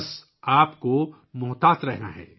آپ کو صرف محتاط رہنا ہوگا